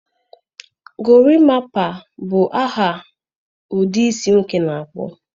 Gorimapa bụ aha ụdị isi nwoke na-akpụ.